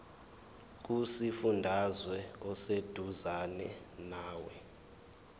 kusifundazwe oseduzane nawe